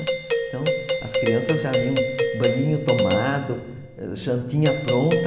Então, as crianças já iam, banhinho tomado, jantinha pronta.